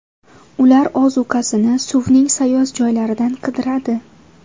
Ular ozuqasini suvning sayoz joylaridan qidiradi.